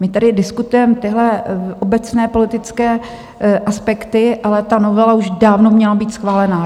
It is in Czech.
My tady diskutujeme tyhle obecné politické aspekty, ale ta novela už dávno měla být schválena.